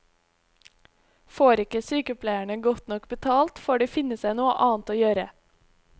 Får ikke sykepleierne godt nok betalt, får de finne seg noe annet å gjøre.